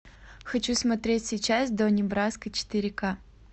хочу смотреть сейчас донни браско четыре ка